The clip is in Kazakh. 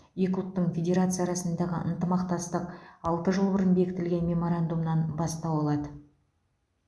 екі ұлттық федерация арасындағы ынтымақтастық алты жыл бұрын бекітілген меморандумнан бастау алады